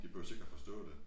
De behøves ikke at forstå det